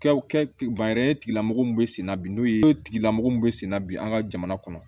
Kɛw tigilamɔgɔw bɛ senna bi n'u ye tigilamɔgɔ min bɛ senna bi an ka jamana kɔnɔ